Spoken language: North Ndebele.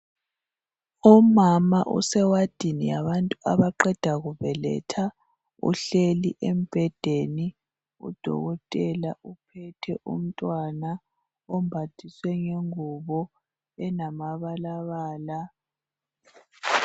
Umama usewadini yabantu abaqeda kubeletha. Uhleli embhedeni. UDokotela uphethe umntwana ombathiswe ingubo elamabalabala.